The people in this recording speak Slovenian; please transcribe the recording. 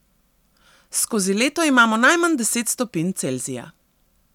Skozi leto imamo najmanj deset stopinj Celzija.